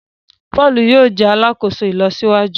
Paul yóò jé alàkóso ìlọsíwájú